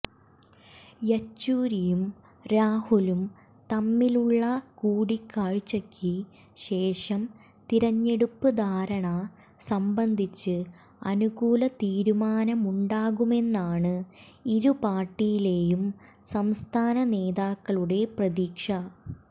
യച്ചൂരിയും രാഹുലും തമ്മിലുള്ള കൂടിക്കാഴ്ച്ചക്ക് ശേഷം തിരഞ്ഞെടുപ്പ് ധാരണ സംബന്ധിച്ച് അനുകൂല തീരുമാനമുണ്ടാകുമെന്നാണ് ഇരുപാര്ട്ടിയിലേയും സംസ്ഥാന നേതാക്കളുടെ പ്രതീക്ഷ